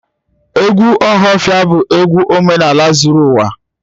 Egwu ohafia bu egwu omenaala zuru uwa